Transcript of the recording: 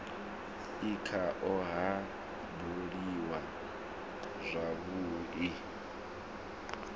e khao ha buliwa zwavhui